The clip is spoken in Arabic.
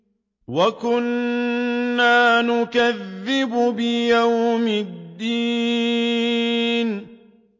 وَكُنَّا نُكَذِّبُ بِيَوْمِ الدِّينِ